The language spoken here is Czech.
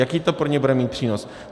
Jaký to pro ně bude mít přínos?